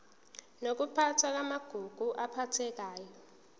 nokuphathwa kwamagugu aphathekayo